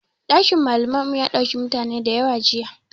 Ɗakin malaman mu ya ɗauki mutane dayawa jiya